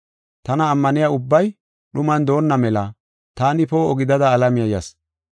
Tana ammaniya ubbay dhuman doonna mela taani poo7o gidada alamiya yas.